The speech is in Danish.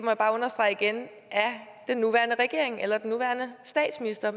jeg bare understrege igen af den nuværende regering eller den nuværende statsminister